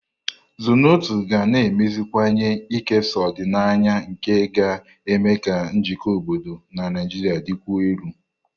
Zornoto ga na-emeziwanye ikesa ọdịnaya nke ga-eme ka njikọ obodo na Nigeria dịkwuo elu.